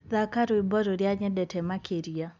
thaka rwĩmbo rũrĩa nyendete makĩrĩa